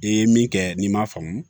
I ye min kɛ n'i m'a faamu